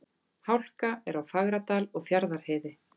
Hálka er á Fagradal og Fjarðarheiði